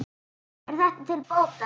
Er þetta til bóta.